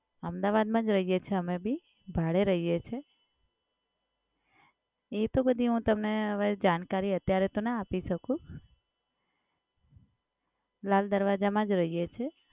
અમદાવાદમાં જ રહીએ છીએ અમે બી. ભાડે રહીએ છીએ. એ તો બધી હું તમને હવે જાણકારી અત્યારે તો ના આપી શકું. લાલ દરવાજામાં જ રહીએ છીએ.